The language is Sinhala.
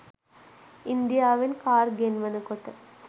ඉන්දියාවෙන් කාර් ගෙන්වනකොට